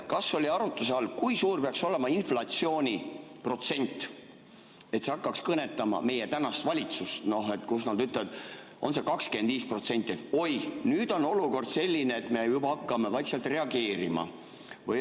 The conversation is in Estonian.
Kas oli arutluse all, kui suur peaks olema inflatsiooni protsent, et see hakkaks kõnetama meie tänast valitsust, kus nad ütlevad, et oi, nüüd on olukord selline, et me hakkame vaikselt reageerima?